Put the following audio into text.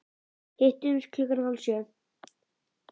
Hittumst klukkan hálf sjö.